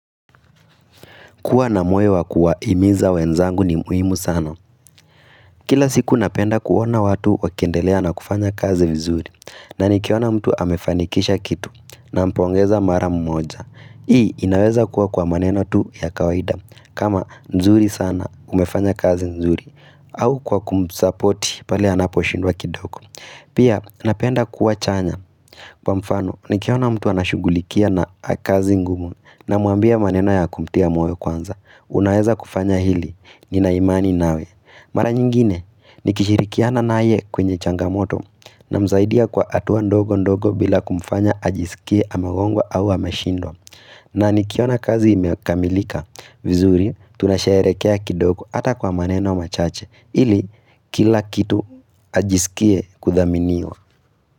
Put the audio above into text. Kuwa na moyo wa kuawahimiza wenzangu ni muhimu sana. Kila siku napenda kuona watu wakiendelea na kufanya kazi vizuri. Na nikiona mtu amefanikisha kitu, nampongeza mara mmoja. Hii inaweza kuwa kwa maneno tu ya kawaida. Kama nzuri sana umefanya kazi nzuri. Au kwa kumusapoti pale anaposhindwa kidogo. Pia napenda kuwa chanya. Kwa mfano, nikiona mtu anashughulikia na kazi ngumu. Namuambia maneno ya kumtia moyo kwanza. Unaeza kufanya hili, nina imani nawe. Mara nyingine, nikishirikiana naye kwenye changamoto Namsaidia kwa hatua ndogo ndogo bila kumfanya ajisikie amegongwa au ameshindwa na nikiona kazi imekamilika vizuri, tunasharehekea kidogo hata kwa maneno machache ili, kila kitu ajisikie kuthaminiwa.